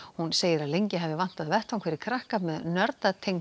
hún segir að lengi hafi vantað vettvang fyrir krakka með